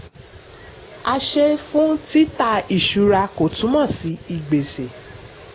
àṣẹ fún tita ìṣura kò túmọ̀ sí ìgbésẹ̀.